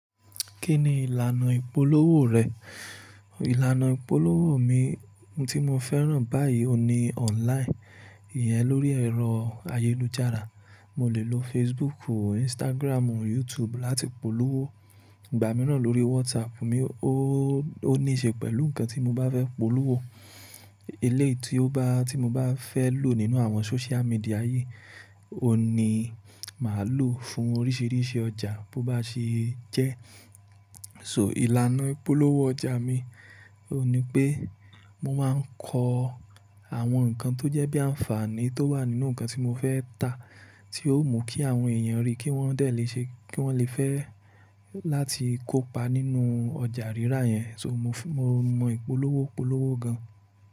Kí ni ìlànà ìpolówó rẹ̀? Ìlànà ìpolówó mi tí mo fẹ́ràn báyìí ò ní online, ìyẹn lórí ẹ̀rọ ayélujára. Mo lè lo Facebook, Instagram, YouTube láti polówó. Ìgbà mìíràn lórí WhatsApp mi, ò ní ṣe pẹ̀lú nǹkan tí mo bá fẹ́ polówó. Eléyìí tí o bá tí mo bá fẹ́ lò nínú àwọn social media yìí, ò ní má lò fún oríṣiríṣi ọjà bó bá ṣe jẹ́. So ìlànà ìpolówó ọjà mi ò ní pé mo máa ń kọ àwọn nǹkan tó jẹ́ bí àǹfààní tó wà nínú nǹkan tí mo fẹ́ ta, tí yóò mú kí àwọn èèyàn ríi kí wọ́n lè fẹ́ láti kópa nínú ọjà rírà yẹn. So mo mọ ìpolówó polówó gan.